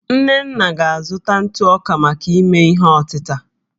nnenna ga-azụta ntụ ọka maka ime ihe ọtịta